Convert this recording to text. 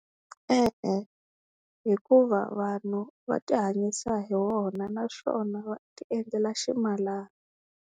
E-e hikuva vanhu va ti hanyisa hi wona na swona va tiendlela ximalana.